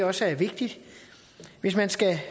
også er vigtigt hvis man skal